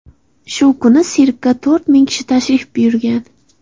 Shu kuni sirkka to‘rt ming kishi tashrif buyurgan.